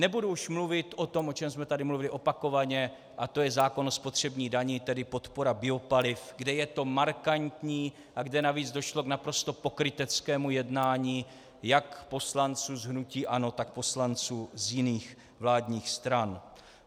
Nebudu už mluvit o tom, o čem jsme tady mluvili opakovaně, a to je zákon o spotřební dani, tedy podpora biopaliv, kde je to markantní a kde navíc došlo k naprosto pokryteckému jednání jak poslanců z hnutí ANO, tak poslanců z jiných vládních stran.